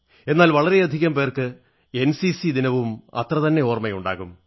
എന്നാൽ വളരെയധികം പേർക്ക് എൻസിസി ദിനവും അത്രതന്നെ ഓർമ്മയുണ്ടാകും